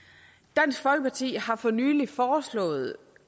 dansk folkeparti har for nylig foreslået